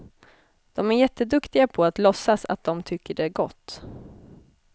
De är jätteduktiga på att låtsas att de tycker det är gott.